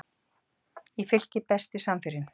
í Fylki Besti samherjinn?